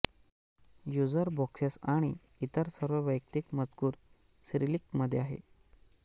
userboxes आणि इतर सर्व वैयक्तिक मजकूर सिरिलिकमध्ये आहे